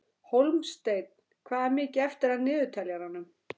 Hólmsteinn, hvað er mikið eftir af niðurteljaranum?